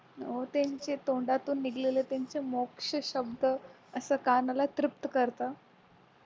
हो त्यांचे तोंडातून निघालेल त्यांचे मोक्ष शब्द असं कानाला तृप्त करत